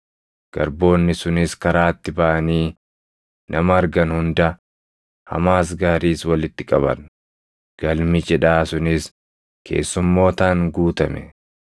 Garboonni sunis karaatti baʼanii nama argan hunda, hamaas gaariis walitti qaban; galmi cidhaa sunis keessummootaan guutame.